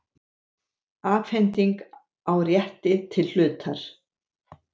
Afhending á rétti til hlutar.